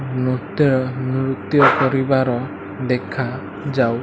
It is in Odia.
ନୁତ୍ୟ ନୃତ୍ୟ କରିବାର ଦେଖା ଯାଉ --